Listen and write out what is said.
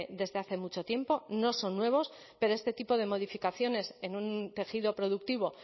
desde hace mucho tiempo no son nuevos pero este tipo de modificaciones en un tejido productivo